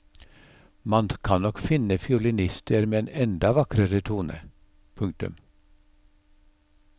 Man kan nok finne fiolinister med en enda vakrere tone. punktum